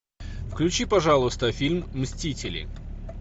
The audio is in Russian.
включи пожалуйста фильм мстители